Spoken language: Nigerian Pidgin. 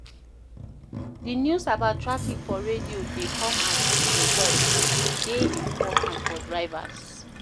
Di news about traffic for radio dey come as e dey hot and e de dey important for drivers